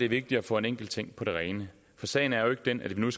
vigtigt at få en enkelt ting på det rene for sagen er jo ikke den at vi nu